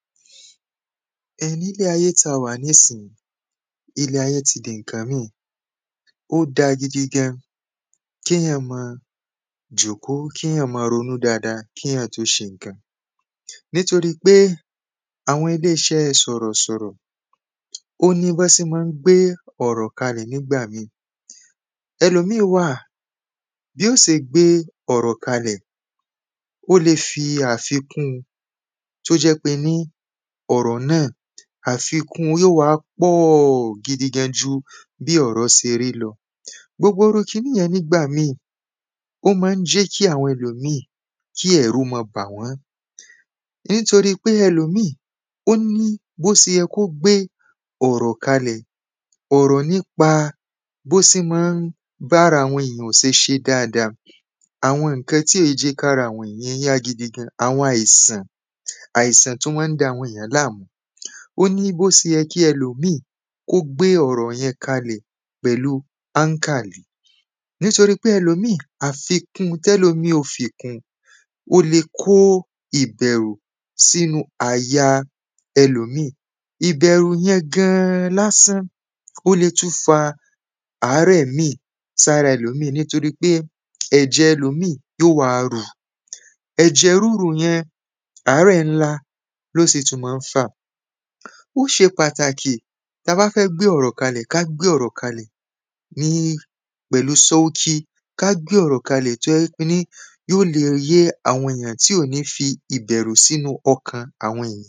Ẹ̄ nílé ayé tí a wà nísìí ilé ayé ti di iǹkan míì. Ó da gidi gan-an kéèyàn mọ jòkó kéèyàn mọ rōnú dáādā kéyàn tó ṣē n̄ǹkān nítōrípé àwọ̄n īlé īṣẹ́ sọ̀rọ̀ sọ̀rọ̀ ó ní bọ́n sé mọ́ ń gbé ọ̀rọ̀ kālẹ̀ nígbà míì. Ẹ̄lòmíì wà bí ó sē gbé ọ̀rọ̀ kalẹ̀ ó le fī àfīkún tó jẹ́ pé ní ọ̀rọ̀ náà àfīkún yóò wá pọ̀ gīdī gān jū bí ọ̀rọ̀ sē rí lọ̄. Gbōgbō īrú kīní yẹ̄n nígbà míì ó má ń jẹ́ kí àwọ̄n ēlòmíì kí ẹ̀rù má bà wọ́n nítōrí pé ēlòmíì ó ní bó sē yẹ̄ kó gbé ọ̀rọ̀ kālẹ̀. Ọ̀rọ̀ nípā bó sē má ń bárā àwọ̄n èyàn ò ṣē ṣē dáādā àwọ̄n n̄ǹkān tí ò jẹ́ kí ārā àwọ̄n èyàn yá gīdī gān àwọ̄n àìsàn àìsàn tó má ń dā àwọ̄n èyàn láàmú. Ó ní bó sē yẹ̄ kí ẹ̄lòmíì kó gbé ọ̀rọ̀ yẹ̄n kālẹ̀ pẹ̀lú Nítōrípé àfīkún tẹ́lòmí ó fī kún ó lē kó ìbẹ̀rù sínú àyā ẹ̄lòmíì ìbẹ̀rù yẹ̄n gān lásán ó lē tún fā àrẹ́ míì sárā ẹ̄lòmíì nítōrípé ẹ̀jẹ̀ ẹ̄lòmíì yóò wá rū. Ẹ̀jẹ̀ rírú yẹ̄n àrẹ́ ńlá ló sì tún má ń fà. Ó ṣē pàtàkì tá bá fẹ́ gbé ọ̀rọ̀ kālẹ̀ ká gbé ọ̀rọ̀ kālẹ̀ ní pẹ̀lú sọ́útí ká gbé ọ̀rọ̀ kālẹ̀ tó jẹ́ ní yó lē yé àwọ̄n ènìyàn tí ò ní fī ìbẹ̀rù sínú ọ̄kàn àwọ̄n èyàn.